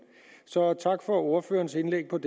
så tak for ordførerens indlæg med